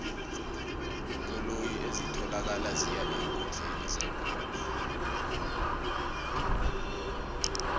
iinkoloyi ezitholakala ziya eenkundleni yebholo